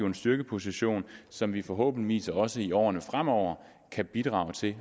en styrkeposition som vi forhåbentligvis også i årene fremover kan bidrage til